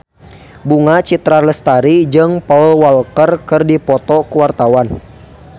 Bunga Citra Lestari jeung Paul Walker keur dipoto ku wartawan